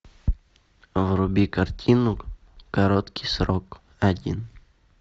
вруби картину короткий срок один